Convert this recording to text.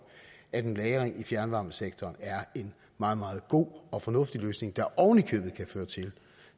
at en lagring i fjernvarmesektoren er en meget meget god og fornuftig løsning der ovenikøbet kan føre til